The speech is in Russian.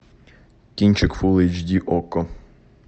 кинчик фулл эйч ди окко